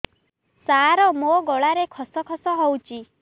ସାର ମୋ ଗଳାରେ ଖସ ଖସ ହଉଚି